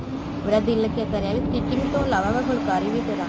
ਮੇਰਾ ਦਿਲ ਕਰਿਆ ਵੀ stitching ਤੋਂ ਇਲਾਵਾ ਮੈਂ ਫੁਲਕਾਰੀ ਵੀ ਕਰਾ